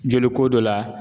Joliko dɔ la